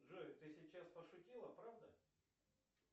джой ты сейчас пошутила правда